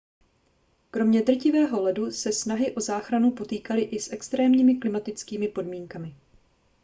kromě drtivého ledu se snahy o záchranu potýkaly i s extrémními klimatickými podmínkami